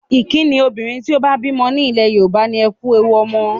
Ìkínni obìnrin tó bá bímọ nílẹ̀ Yorùbá ni 'Ẹ kú ewu ọmọ'.